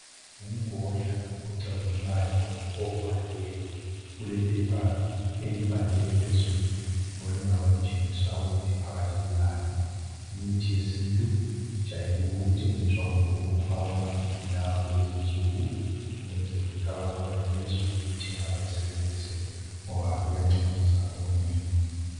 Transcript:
Ngumgodla ocazimulayo ovaliweyo ulephepha elibhaliweyo phezulu elingaba litshengisa ukuthi phakathi kulani. Imithi yesintu ijayele ukuthengiswa kumbe ukufakwa emaphepheni lawa lezinsuku ukwenzela ukuthi abantu bayenelise ukuyithenga bayisebenzise ngoba iyancedisa okunengi.